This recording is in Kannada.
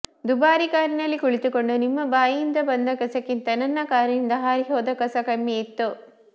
ದುಬಾರಿ ಕಾರಿನಲ್ಲಿ ಕುಳಿತುಕೊಂಡು ನಿಮ್ಮ ಬಾಯಿಯಿಂದ ಬಂದ ಕಸಗಿಂತ ನನ್ನ ಕಾರಿನಿಂದ ಹಾರಿಹೋದ ಕಸ ಕಡಿಮೆಯಿತ್ತು